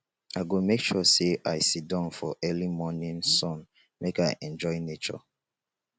i go make sure sey i siddon for early morning sun make i enjoy nature